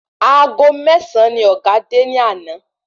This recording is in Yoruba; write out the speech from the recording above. Aago mésàn ni ọ̀gá dé ni àná?